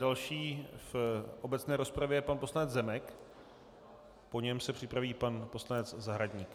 Další v obecné rozpravě je pan poslanec Zemek, po něm se připraví pan poslanec Zahradník.